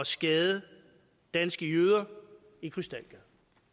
skade danske jøder i krystalgade